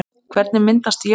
Hvernig myndast jöklar?